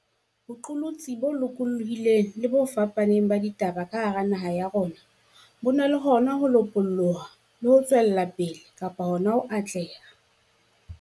boqolotsi bo lokolohileng le bo fapaneng ba ditaba ka hara naha ya rona bo na le hona ho lopoloha le ho tswela pele kapa hona ho atleha.